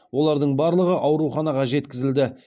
олардың барлығы ауруханаға жеткізілді